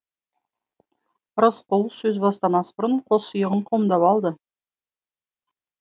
рысқұл сөз бастамас бұрын қос иығын қомдап алды